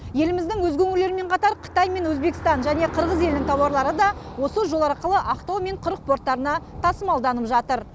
еліміздің өзге өңірлерімен қатар қытай мен өзбекстан және қырғыз елінің тауарлары да осы жол арқылы ақтау мен құрық порттарына тасымалданып жатыр